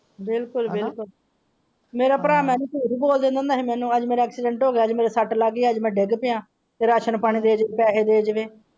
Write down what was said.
ਬਿਲਕੋਲ ਬਿਲਕੋਲ ਮੇਰਾ ਭਰਾ ਮੈਨੂੰ ਝੂਠ ਬੋਲ ਦੇਂਦਾ ਸੀ ਅੱਜ ਮੇਰਾ ਐਕਸੀਡੈਂਟ ਹੋ ਗਿਆਅੱਜ ਮੇਰੇ ਸਟ ਲੱਗ ਗਈ ਅੱਜ ਮੈਂ ਡਿਗ ਪਾਇਆ ਕਿ ਰਾਸ਼ਨ ਪਾਣੀ ਦੇ ਦੇ ਪੈਸੇ ਦੇ ਜਾਵੇ।